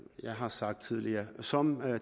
jeg har sagt tidligere som